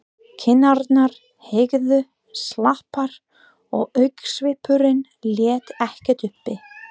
Kinnarnar héngu slapar og augnsvipurinn lét ekkert uppi.